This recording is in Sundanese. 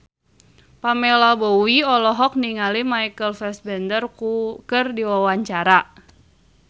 Pamela Bowie olohok ningali Michael Fassbender keur diwawancara